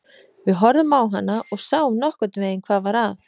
Við horfðum á hana og sáum nokkurn veginn hvað var að.